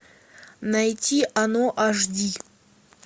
найти оно аш ди